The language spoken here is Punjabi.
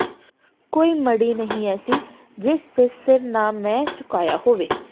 ਕੋਈ ਮੜ੍ਹੀ ਨਹੀ ਐਸੀ ਜਿਸ ਤੇ ਸਿਰ ਨਾ ਮੈ ਝੁਕਾਇਆ ਹੋਵੇ